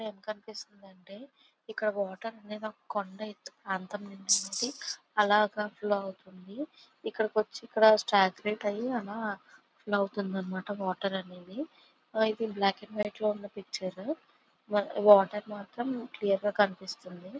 ఇక్కడ ఎం కనిపిస్తుంది అంటే ఇక్కడ వాటర్ అనేది కొండా ఎత్తు ప్రాంతం నుంచి అలాగా ఫ్లో అవుతుంది. ఇక్కడకి వచ్చి ఇక్కడ సాట్ లైట్ అయి అలా ఫ్లో అవుతుంది అన్నమాట వాటర్ అనేది. ఇది బ్లాక్ అండ్ వైట్ లో ఉన్న పిక్చర్ . వాటర్ మాత్రం క్లియర్ గా కనిపిస్తుంది.